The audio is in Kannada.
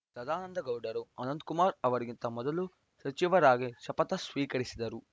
ಸದಾನಂದಗೌಡರು ಅನಂತ ಕುಮಾರ್‌ ಅವರಿಗಿಂತ ಮೊದಲು ಸಚಿವರಾಗಿ ಶಪಥ ಸ್ವೀಕರಿಸಿದರು